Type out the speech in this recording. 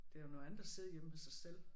Det er jo noget andet at sidde hjemme ved sig selv